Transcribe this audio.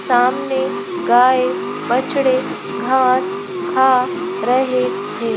सामने गाय बछड़े घास खा रहे है।